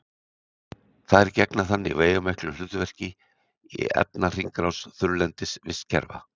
Þær gegna þannig veigamiklu hlutverki í efnahringrás þurrlendis vistkerfa.